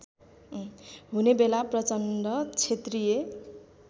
हुनेबेला प्रचण्ड क्षेत्रीय